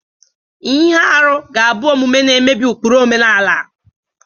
Ihe arụ ga-abụ omume na-emebi ụkpụrụ omenala.